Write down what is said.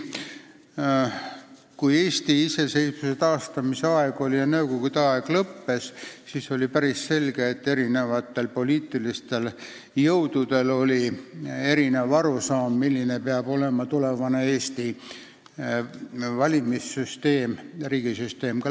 Kui saabus Eesti iseseisvuse taastamise aeg ja lõppes nõukogude aeg, siis oli päris selge, et poliitilistel jõududel oli erinev arusaam, milline peab olema tulevane Eesti valimissüsteem ja laiemalt kogu riigisüsteem.